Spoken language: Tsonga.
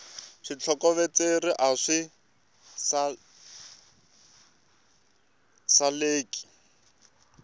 switlokovetselo a swi saleki